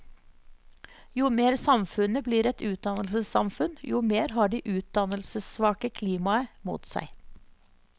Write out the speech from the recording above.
Jo mer samfunnet blir et utdannelsessamfunn, jo mer har de utdannelsessvake klimaet mot seg.